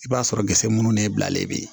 I b'a sɔrɔ gese munnu n'e bilalen bɛ yen